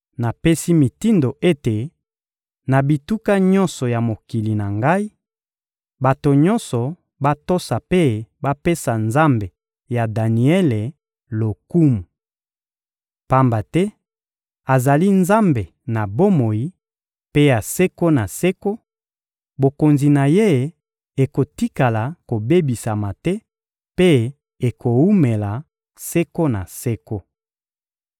Napesi mitindo ete, na bituka nyonso ya mokili na ngai, bato nyonso batosa mpe bapesa Nzambe ya Daniele lokumu. Pamba te azali Nzambe na bomoi mpe ya seko na seko; bokonzi na Ye ekotikala kobebisama te mpe ekowumela seko na seko.